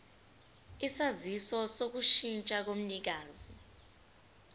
isaziso sokushintsha komnikazi